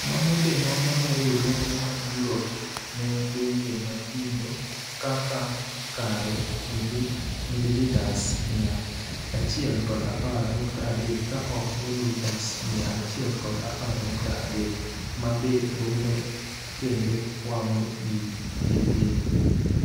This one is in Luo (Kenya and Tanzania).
Mano be nono ne Riuruoge mag Yurop ne pinje mathindo kaka kare (Mililitas mia achiel kod apar nukta adek ka ok mililitas mia achiel kod apar nukta adek),ma be rundo kendo wang'o yii nyiythindo .